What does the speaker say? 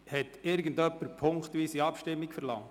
Hat irgendjemand punktweise Abstimmung verlangt?